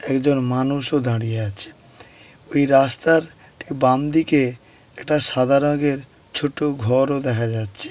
একজন মানুষ ও দাঁড়িয়ে আছে। ওই রাস্তার ঠিক বামদিকে একটা সাদা রংয়ের ছোট ঘর ও দেখা যাচ্ছে।